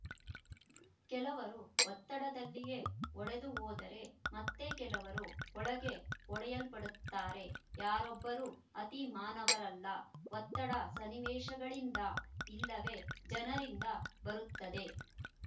ಕೆಲವರು ಒತ್ತಡದಲ್ಲಿಯೆ ಒಡೆದುಹೋದರೆ ಮತ್ತೆ ಕೆಲವರು ಒಳಗೇ ಒಡೆಯಲ್ಪಡುತ್ತಾರೆ ಯಾರೊಬ್ಬರೂ ಅತಿ ಮಾನವರಲ್ಲ ಒತ್ತಡ ಸನ್ನಿವೇಶಗಳಿಂದ ಇಲ್ಲವೆ ಜನರಿಂದ ಬರುತ್ತದೆ